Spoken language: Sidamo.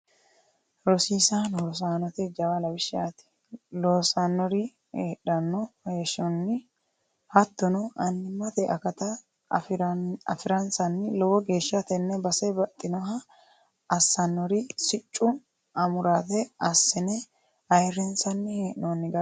Rosiisano rosaanote jawa lawishshati loosanori heedhano heeshshoni hattono annimate akata afiransanni ,lowo geeshsha tene base baxxinoha assanori siccu amurate assine ayirrinsanni hee'nonni garati.